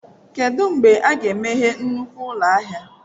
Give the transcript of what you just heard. Kedu mgbe a ga-emeghe nnukwu ụlọ ahịa?